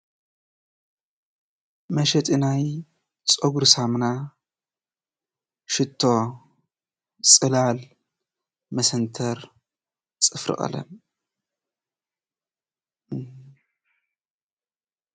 መሸጢ ናይ ፀጉሪ ሳሙና፣ ሽቶ፣ ፅላል፣ መሰንተር፣ ፅፍሪ ቀለም እዩ፡፡